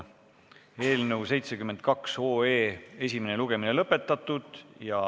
Eelnõu 72 esimene lugemine on lõpetatud.